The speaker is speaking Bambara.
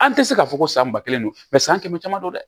An tɛ se k'a fɔ ko san ba kelen don san kɛmɛ caman don dɛ